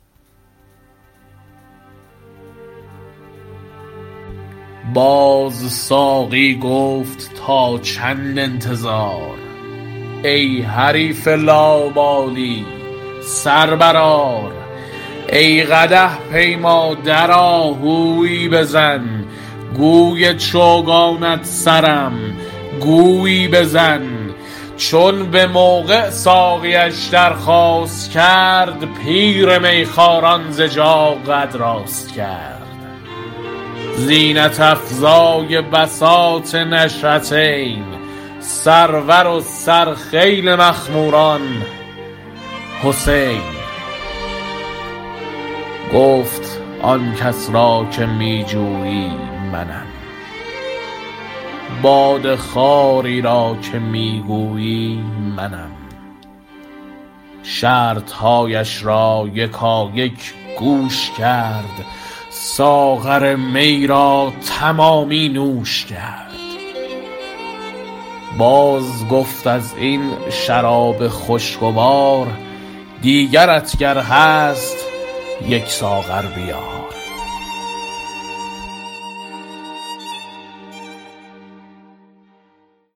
در بیان اینکه چون مطلوب را رغبت شامل و طالب را استعداد کامل آمد توسن مقصود رام است و باده ی مراد در جام از آنجاست که محرم خلوتخانه ی راز و محقق شیراز خواجه حافظ قدس سره می فرماید سایه معشوق گر افتاد بر عاشق چه شد ما به او محتاج بودیم او به ما مشتاق بود و در اینجا مقصود حسینی استعدادست که در طریق جانبازی طاق و در قانون خانه پردازی زبده و اکمل عشاق ست باز ساقی گفت تا چند انتظار ای حریف لاابالی سر برآر ای قدح پیما درآ هویی بزن گوی چوگانت سرم گویی بزن چون بموقع ساقیش درخواست کرد پیر میخواران ز جا قد راست کرد زینت افزای بساط نشأتین سرور و سر خیل مخموران حسین گفت آنکس را که می جویی منم باده خواری را که می گویی منم شرطهایش را یکایک گوش کرد ساغر می را تمامی نوش کرد باز گفت از این شراب خوشگوار دیگرت گر هست یک ساغر بیار